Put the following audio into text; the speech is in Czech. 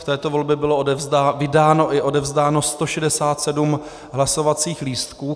V této volbě bylo vydáno i odevzdáno 167 hlasovacích lístků.